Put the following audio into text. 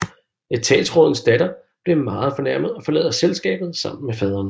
Etatsrådens datter bliver meget fornærmet og forlader selskabet sammen med faderen